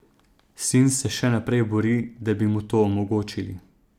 Sin se še naprej bori, da bi mu to omogočili.